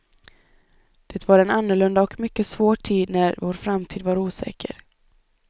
Det var en annorlunda och mycket svår tid när vår framtid var osäker.